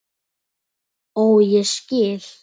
Ó, ég skil!